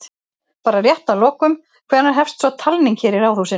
Bara rétt að lokum, hvenær hefst svo talning hér í Ráðhúsinu?